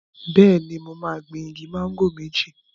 Bẹ́ẹ̀ni, mo máa gbin igi máńgò méjì.